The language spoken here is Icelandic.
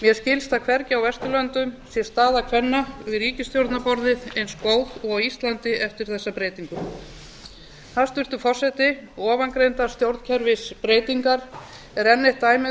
mér skilst að hvergi á vesturlöndum sé staða kvenna við ríkisstjórnarborðið eins góð og á íslandi eftir þessa breytingu hæstvirtur forseti ofangreindar stjórnkerfisbreytingar er enn eitt dæmið um